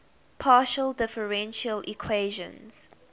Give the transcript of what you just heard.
partial differential equations